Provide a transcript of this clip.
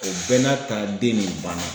O bɛɛ n'a ta den nin banna.